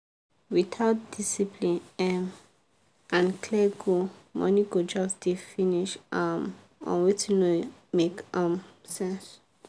without discipline um and clear goal money go just dey finish um on wetin no make um sense.